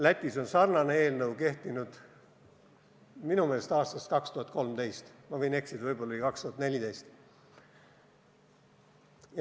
Lätis on sarnane seadus kehtinud minu meelest aastast 2013, ma võin eksida, võib-olla oli see 2014.